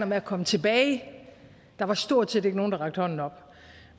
med at komme tilbage der var stort set ikke nogen der rakte hånden op